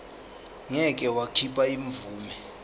ngeke wakhipha imvume